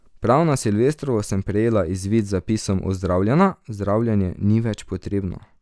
Prav na silvestrovo sem prejela izvid z zapisom Ozdravljena, zdravljenje ni več potrebno.